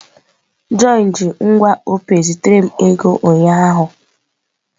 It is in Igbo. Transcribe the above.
John ji ngwa Opay zitere m ego ụnyaahụ.